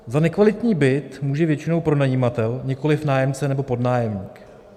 Za nekvalitní byt může většinou pronajímatel, nikoli nájemce nebo podnájemník.